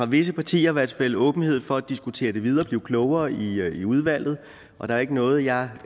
visse partier i hvert fald åbenhed for at diskutere det videre og blive klogere i i udvalget og der er ikke noget jeg